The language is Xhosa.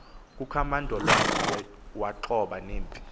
kukamandolwane waxhoba nempi